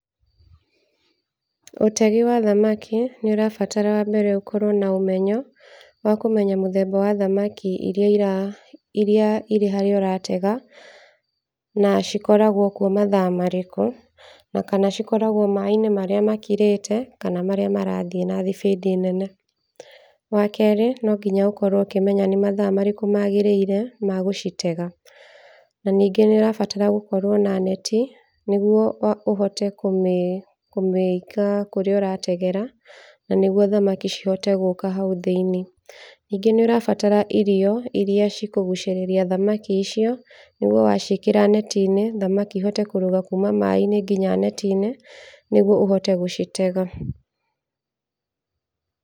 Ũtegi wa thamaki nĩ ũrabatara wa mbere , ũkorwo na ũmenyo wa kũmenya mũthemba wa thamaki iria irĩ harĩa ũratega, na cikoragwo kwo mathaa marĩkũ, na kana cikoragwo maaĩ-inĩ marĩa makirĩte kana maria marathi na thibidi nene, wa kerĩ no nginya ũkorwo ũkĩmenya nĩ mathaa marĩkũ magĩrĩire gũcitega, na ningĩ nĩ ũrabatara gũkorwo na neti nĩgwo ũhote kũmĩ kũmĩiga kũrĩa ũrategera, na nĩgwo thamaki cihote gũka hau thĩiniĩ , ningĩ nĩ ũrabatara irio iria cikũgucĩrĩria thamaki icio, ũgwo waciĩkĩra neti-inĩ thamaki ihote kũrũga kuma maaĩ-inĩ nginya neti-inĩ nĩgwo ũhote gũcitega.